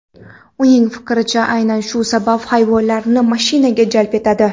Uning fikricha, aynan shu sabab hayvonlarni mashinaga jalb etadi.